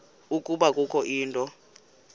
ukuba kukho into